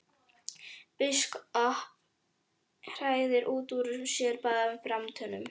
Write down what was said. Biskup hrækti út úr sér báðum framtönnunum.